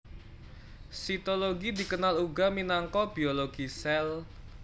Sitologi dikenal uga minangka biologi sèl